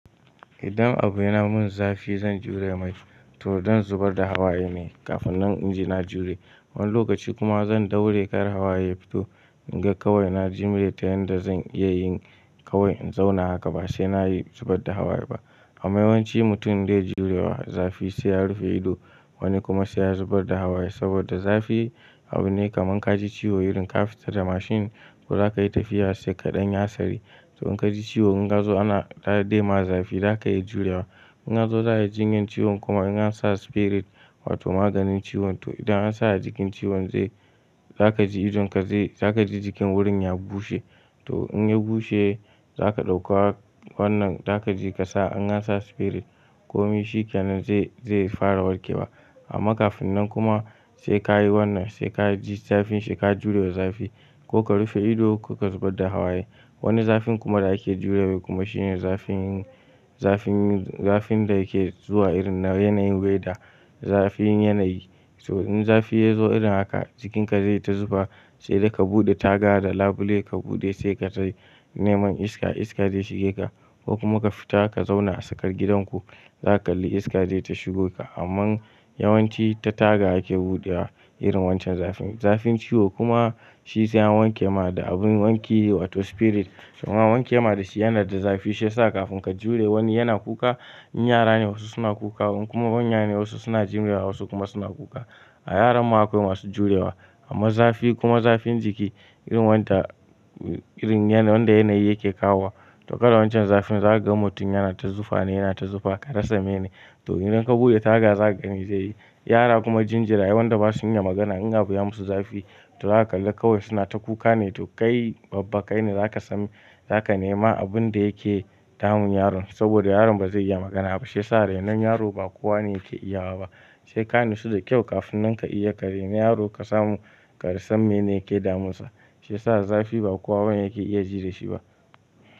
Idan abu yana mun zafi zan jure mai to don zubar da hawaye ne kafin na in ji na jure. Wani lokaci kuma zan daure kar hawaye fito in ga kawai na jimre ta yanda zan iya yin kawai in zauna haka ba sai na yi zubar da hawaye ba. Amma yawanci mutum da ya jure zafi sai ya rufe ido wani kuma sai ya zubar da hawaye saboda zafi abu ne kaman ka ji ciwo irin ka fita da mashin ko za ka yi tafiya sai ka ɗan ya hasari. To in ka ji ciwo in ka zo ana bai yi ma zafi za ka iya jurewa. In a zo za a yi jinyan ciwon kuma in an sa spirit wato maganin ciwon to idan an sa a jikin ciwon zai-- za ka ji idon ka zai, za ka ji jikin wurin ya bushe. To in ya bushe za ka ɗauka wannan za ka ji ka sa an sa spirit komai shi ƙanan zai, zai fara warke wa. Amma kafin nan kuma sai ka yi wannan, sai ka ji zafin shi ka jure zafi ko ka rufe ido ko ka zubar da hawaye. Wani zafin kuma da ake jurewa kuma shine zafin, zafin, zafin da yake zuwa irin na yanayin weather zafin yanayi. To in zafi ya zo irin haka jikinka zai ta zufa sai dai ka buɗe taga da labule ka buɗe sai ka yi neman iska, iska zai shige ka ko kuma ka fita ka zauna a tsakar gidan ku za ka kalli iska zai ta shigo ka. Amman yawanci ta taga ake buɗewa irin wancan zafin. Zafin ciwo kuma shi sai an wanke ma da abun wanki wato spirit. Kuma an wanke ma da shi yanar da zafi shi ya sa kafin ka jure wani yana kuka, in yara ne wasu suna kuka kuma manya ne wasu suna jimre wasu kuma suna kuka. A yaran mu akwai masu jurewa. Amma zafi kuma zafin jiki irin wanda, irin yanayin wanda yanayi yake kawo to kada wancan zafin za ka ga mutum yana ta zufa ne, yana ta zufa ka rasa mene. To idan ka buɗe taga za ka gani zai yi. Yara kuma jinjirayen wanda ba su iya magana in a biya musu zafi to za ka kalli kawai suna ta kuka ne to kai babban kai ne za ka san, za ka nema abun da yake damun yaron saboda yaron ba zai iya magana ba. Shi ya sa rainon yaro ba kowane yake iyawa ba. Sai ka natsu da kyau kafin nan ka iya ka raina yaro ka samu ka rasa mene yake damunsa. Shi ya sa zafi ba kowa yake iya jiri da shi ba.